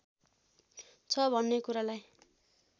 छ भन्ने कुरालाई